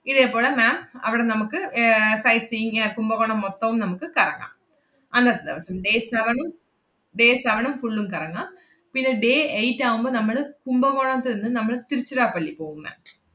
ഇതേ പോളെ ma'am അവടെ നമ്മക്ക് ഏർ sight seeing ഏർ കുംഭകോണം മൊത്തോം നമുക്ക് കറങ്ങാം. അന്നത്തെ ദെവസം, day seven ഉം day seven ഉം full ഉം കറങ്ങാം. പിന്നെ day eight ആവുമ്പ നമ്മള് കുംഭകോണത്തു നിന്ന് നമ്മൾ തിരുച്ചിറപള്ളി പോവും ma'am